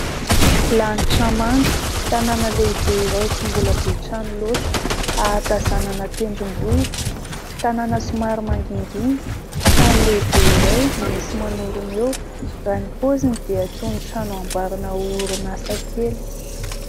Lanitra manga, tanana lehibe iray tsy mbola be trano loatra, ahatazanana tendrombohitra. Tanana somary mangingina, trano lehibe iray no misy manorina eo. Raha ny paoziny dia toy ny trano hanamboarana orinasa kely.